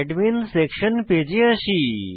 admin section page পেজে আসি